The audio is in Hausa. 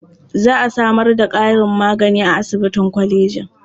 Za a samar da ƙarin magani a asibitin kolejin.